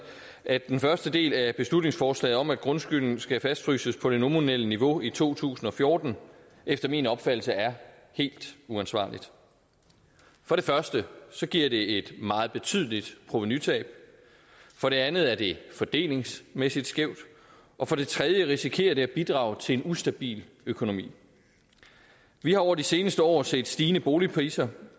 at den første del af beslutningsforslaget om at grundskylden skal fastfryses på det nominelle niveau i to tusind og fjorten efter min opfattelse er helt uansvarligt for det første giver det et meget betydeligt provenutab for det andet er det fordelingsmæssigt skævt og for det tredje risikerer det at bidrage til en ustabil økonomi vi har over de seneste år set stigende boligpriser